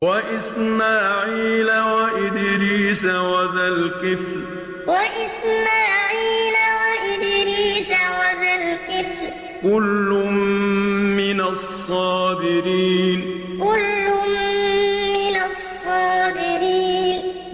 وَإِسْمَاعِيلَ وَإِدْرِيسَ وَذَا الْكِفْلِ ۖ كُلٌّ مِّنَ الصَّابِرِينَ وَإِسْمَاعِيلَ وَإِدْرِيسَ وَذَا الْكِفْلِ ۖ كُلٌّ مِّنَ الصَّابِرِينَ